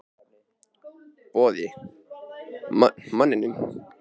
Boði: Manninum?